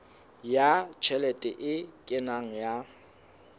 ya tjhelete e kenang ya